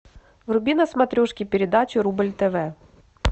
вруби на смотрешке передачу рубль тв